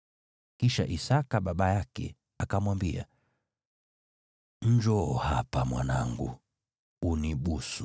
Kisha Isaki baba yake akamwambia, “Njoo hapa, mwanangu, unibusu.”